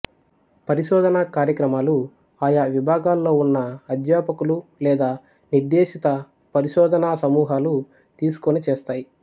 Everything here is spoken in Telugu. పరిశోధన కార్యక్రమాలు ఆయా విభాగాల్లో ఉన్న అధ్యాపకులు లేదా నిర్దేశిత పరిశోధనా సమూహాలు తీసుకుని చేస్తాయి